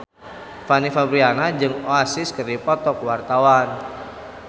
Fanny Fabriana jeung Oasis keur dipoto ku wartawan